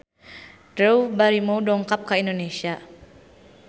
Drew Barrymore dongkap ka Indonesia